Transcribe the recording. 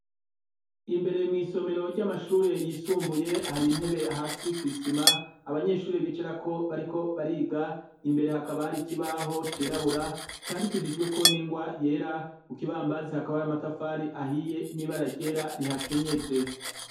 Imbere mw'isomero ry'amashure yisumbuye, hari intebe hasi kw'isima abanyeshure bicarako bariko bariga, imbere hakaba hari ikibaho cirabura, candikishijweko n'ingwa yera, ku kibambazi hakaba hari amatafari ahiye n'ibara ryera rihakenyeje.